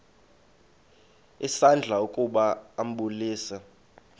isandla ukuba ambulise